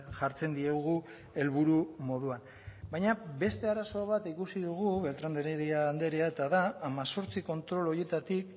jartzen diegu helburu moduan baina beste arazo bat ikusi dugu beltran de heredia andrea eta da hemezortzi kontrol horietatik